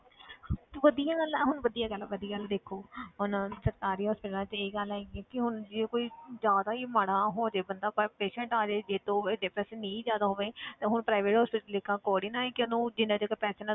ਵਧੀਆ ਗੱਲ ਹੈ ਹੁਣ ਵਧੀਆ ਗੱਲ ਆ ਵੱਡੀ ਗੱਲ ਦੇਖੋ ਹੁਣ ਸਰਕਾਰੀ hospitals 'ਚ ਇਹ ਗੱਲ ਹੈਗੀ ਕਿ ਹੁਣ ਜੇ ਕੋਈ ਜ਼ਿਆਦਾ ਹੀ ਮਾੜਾ ਹੋ ਜਾਵੇ ਬੰਦਾ ਪਰ patient ਆ ਜਾਏ ਜੇ ਤਾਂ ਨਹੀਂ ਜ਼ਿਆਦਾ ਹੋਵੇ ਤਾਂ ਹੁਣ private hospital ਲੇਖਾਂ ਥੋੜ੍ਹੀ ਨਾ ਹੈ ਕਿ ਉਹਨੂੰ ਜਿੰਨਾ ਚਿਰ